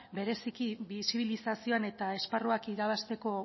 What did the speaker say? bereziki bisibilizazioan eta esparruak irabazteko